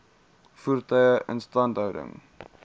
voertuie instandhouding